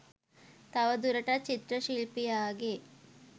තව දුරටත් චිත්‍ර ශිල්පියාගේ